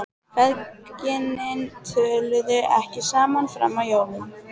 Feðginin töluðu ekki saman fram að jólum.